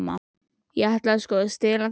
Ég ætlaði sko að stela þeim.